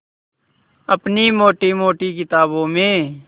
अपनी मोटी मोटी किताबों में